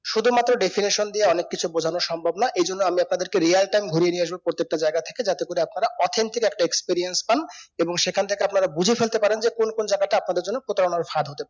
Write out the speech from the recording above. শুধু মাত্রেও definition দিয়ে অনেক কিছু বোঝানো সম্ভব না এই জন্য আমি আপনাদেরকে real time গুড়িয়ে নিয়ে এসব প্রত্যেকটা জায়গা থেকে যাতে করে আপনারা authentic একটা experience পান এবং সেখান ঠগেকে আপনারা বুজে ফেলতে পারেন যে কোন কোন জায়গাটা আপনাদের জন্য প্রতারণার ফাঁদ হতে পারে